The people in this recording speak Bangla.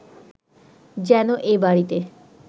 যেন এ বাড়িতে